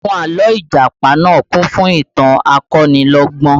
Àwọn àlọ́ Ìjàpá náà kún fún ìtàn akonilọ́gbọ́n